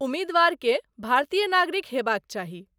उम्मीदवार के भारतीय नागरिक हेबाक चाही।